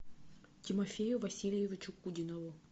тимофею васильевичу кудинову